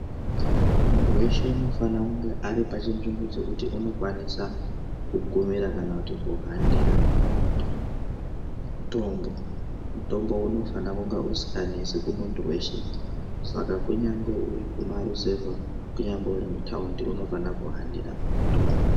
Muntu weshe unofana kunge aripachinzvimbo chekuti unokwanisa kugumira kana kuti kuhanira mutombo mutombo unofana kunga usinganesi kumuntu weshe saka kunyangwe urikumarizevha kunyangwe urikutaundi unofana kuhanira mutombo.